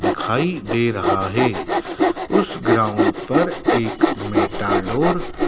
दिखाई दे रहा है उस ग्राउंड पर एक मेटाडोर --